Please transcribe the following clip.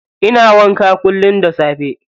Ina wanka kullum da safe.